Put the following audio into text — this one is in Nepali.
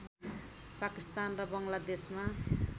पाकिस्तान र बङ्गलादेशमा